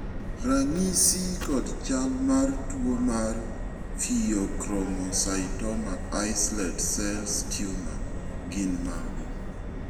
ranyisi kod chal mar tuo mar Pheochromocytoma islet cell tumor gin mage?